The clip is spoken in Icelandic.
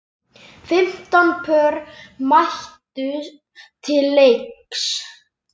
Fimmtán pör mættu til leiks.